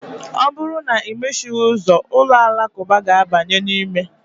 Ọ bụrụ na imechighị ụzọ, ụlọ alakụba ga-abanye n'ime.